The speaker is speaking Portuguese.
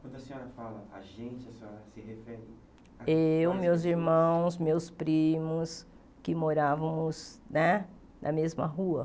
Quando a senhora fala a gente, a senhora se refere... Eu, meus irmãos, meus primos, que morávamos né na mesma rua.